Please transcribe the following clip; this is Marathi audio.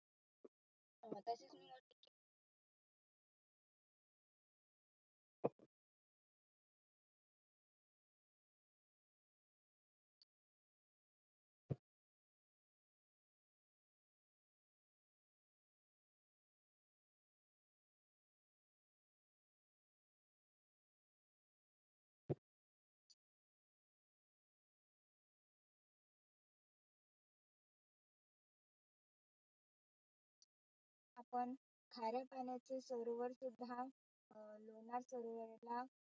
आपण खाऱ्या पाण्याचे सरोवर सुद्धा अं लोणार सरोवर